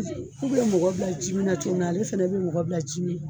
Ku be mɔgɔ bila ji mi na cogo mi na , ale fɛnɛ be mɔgɔ bila ji mi na